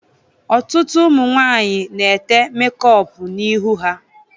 Ọtụtụ ụmụ nwaanyị na-ete mekọpu n'ihu ha.